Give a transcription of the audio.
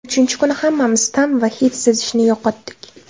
Uchinchi kuni hammamiz ta’m va hid sezishni yo‘qotdik.